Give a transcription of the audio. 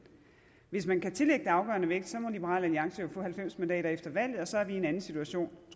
hvis man kan tillægge det afgørende vægt må liberal alliance jo få halvfems mandater efter valget og så er vi i en anden situation